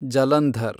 Jalandhar